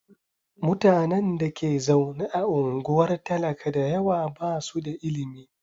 Mutanen da ke zaune a unguwar talaka da yawa ba su da ilimi.